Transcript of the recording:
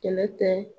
Kɛlɛ tɛ